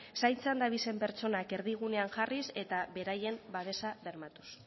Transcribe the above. zaintzan dabizen pertsonak erdigunean jarriz eta beraien babesa bermatuz